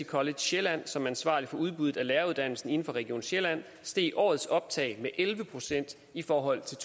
college sjælland som er ansvarlig for udbuddet af læreruddannelsen inden for region sjælland steg årets optag med elleve procent i forhold til